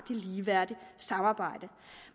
ligeværdige samarbejde